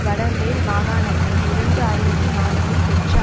வட மேல் மாகாணத்தில் இரண்டு ஆயிரத்தி நான்கில் பெற்ற